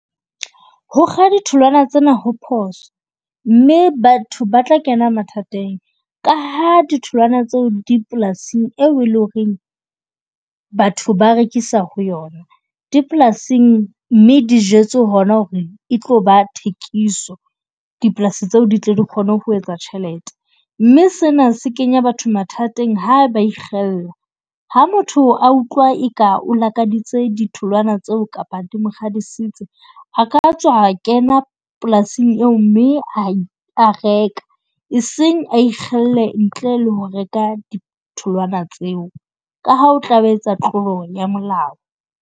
Ho kga ditholwana tsena ho phoso mme batho ba tla kena mathateng. Ka ha ditholwana tseo di polasing eo eleng hore batho ba rekisa ho yona. Dipolasing mme di jwetse hore e tlo ba thekiso. Dipolasi tseo di tlo di kgone ho etsa tjhelete, mme sena se kenya batho mathateng. Ha ba ikgella ha motho a utlwa eka o lakaditse ditholoana tseo kapa di mo kgadisitse a ka tswa kena polasing eo, mme a reka. E seng a ikgelle ntle le ho reka ditholwana tseo, ka ha o tla be a etsa tlolo ya molao.